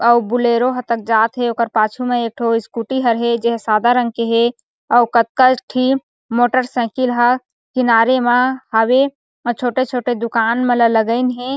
अउ बुलेरो ह तक जात हे ओकर पाछू में एकठो स्कूटी हर हे जे ह सादा रंग के हे अउ कतका ठी मोटरसाइकिल ह किनारे मा हावे अउ छोटे-छोटे दूकान मन ला लगाइन हे।